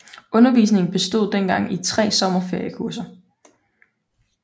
Undervisningen bestod dengang i tre sommerferiekurser